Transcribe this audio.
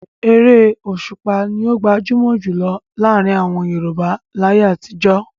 Eré Òṣùpá ni ó gbajúmọ̀ jù lọ láàrin àwọn Yorùbá láyé àtijọ́.